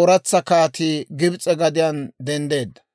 ooratsa kaatii Gibs'e gadiyaan denddeedda.